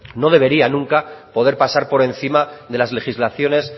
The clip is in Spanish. no debería nunca poder pasar por encima de las legislaciones